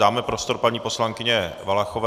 Dáme prostor paní poslankyni Valachové.